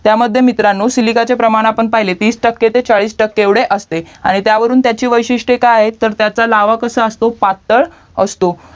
त्यामध्ये मित्रांनो सिलिकाचे प्रमाण पाहिले तीस टक्के ते चाळीस टक्के एवढे असते आणि त्यावरून त्याची वैशिस्टे काय आहेत तर त्याचा लावा कसं असतो पात्तळ असतो